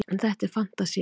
en þetta er fantasía